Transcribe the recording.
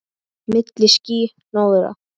Milli ský- hnoðra.